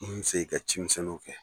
N fɛ e ka cɛmisɛnninw kɛ.